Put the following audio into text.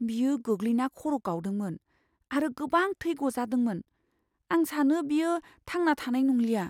बियो गोग्लैना खर' गावदोंमोन आरो गोबां थै गजादोंमोन। आं सानो बियो थांना थानाय नंलिया।